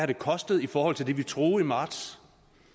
det kostet i forhold til det vi troede i marts